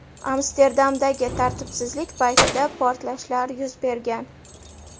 Amsterdamdagi tartibsizlik paytida portlashlar yuz bergan .